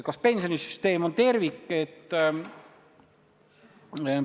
Kas pensionisüsteem on tervik?